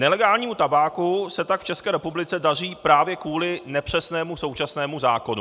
Nelegálnímu tabáku se tak v České republice daří právě kvůli nepřesnému současnému zákonu.